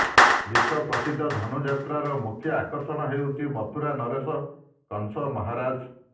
ବିଶ୍ୱପ୍ରସିଦ୍ଧ ଧନୁଯାତ୍ରାର ମୁଖ୍ୟ ଆକର୍ଷଣ ହେଉଛନ୍ତି ମଥୁରା ନରେଶ କଂସ ମହାରାଜ